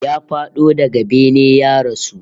Ya fado daga bene ya rasu